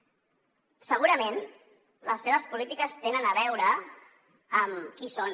segurament les seves polítiques tenen a veure amb qui són